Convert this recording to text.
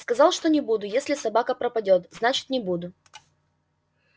сказал что не буду если собака пропадёт значит не буду